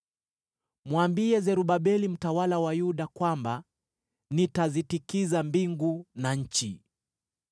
“Mwambie Zerubabeli mtawala wa Yuda kwamba nitazitikisa mbingu na nchi.